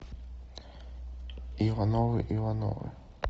ивановы ивановы